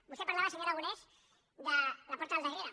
vostè parlava senyor aragonès de la porta del darrere